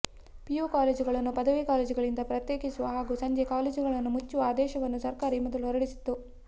PU ಕಾಲೇಜುಗಳನ್ನು ಪದವಿ ಕಾಲೇಜುಗಳಿಂದ ಪ್ರತ್ಯೇಕಿಸುವ ಹಾಗೂ ಸಂಜೆ ಕಾಲೇಜುಗಳನ್ನು ಮುಚ್ಚುವ ಆದೇಶವನ್ನು ಸರ್ಕಾರ ಈ ಮೊದಲು ಹೊರಡಿಸಿತ್ತು